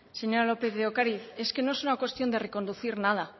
señora lópez de ocariz es que no es una cuestión de reconducir nada